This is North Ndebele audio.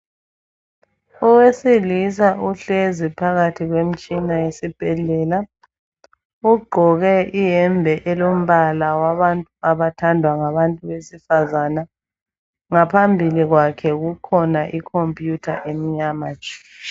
Owesilisa uhlezi phakathi kwemtshina yesibhedlela ugqoke iyembe elombala wabantu abathandwa ngabantu wesifazana ngaphambili kwakhe kukhona ikhompiyutha emnyama tshu